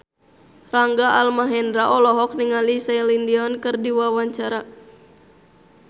Rangga Almahendra olohok ningali Celine Dion keur diwawancara